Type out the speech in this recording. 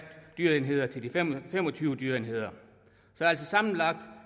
dyreenheder til de fem og tyve dyreenheder så sammenlagt